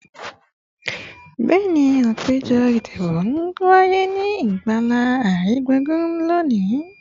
Bẹẹni, apejọ idibo ti n waye ni agbala aringbungbun loni